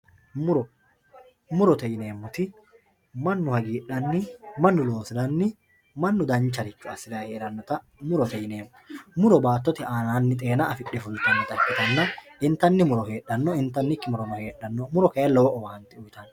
muro murote yineemoti mannu hagiixanni mannu loosiranni mannu dancharicho assirayii heerannota murote yineemo muro battote aananni xeena afidhe fultannota ikkitanna intanni muro heedhanno intaniki murono heedhanno muro kayii lowo owaante uuyiitanno.